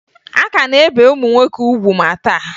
A ka na-ebe ụmụ nwoke ugwu ma taa